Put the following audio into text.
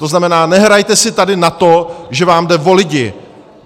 To znamená, nehrajte si tady na to, že vám jde o lidi.